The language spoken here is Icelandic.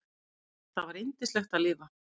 Það var yndislegt að lifa.